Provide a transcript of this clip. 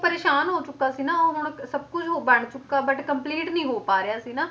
ਪਰੇਸਾਨ ਹੋ ਚੁੱਕਾ ਸੀ ਨਾ ਉਹ ਹੁਣ ਸਭ ਕੁੱਝ ਉਹ ਬਣ ਚੁੱਕਾ but complete ਨੀ ਹੋ ਪਾ ਰਿਹਾ ਸੀ ਨਾ,